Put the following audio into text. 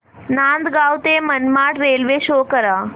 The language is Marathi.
नांदगाव ते मनमाड रेल्वे शो करा